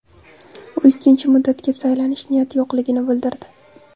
U ikkinchi muddatga saylanish niyati yo‘qligini bildirdi.